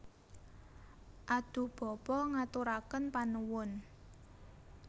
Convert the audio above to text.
Adhuh Bapa ngaturaken panuwun